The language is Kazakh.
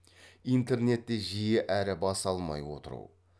интернетте жиі әрі бас алмай отыру